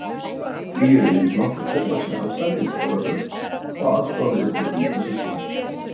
Því eru yfirleitt nokkur fullvaxin afkvæmi með foreldrunum og aðstoða við uppeldi yngri systkina.